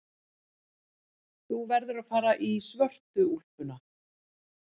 Þú verður að fara í svörtu úlpuna.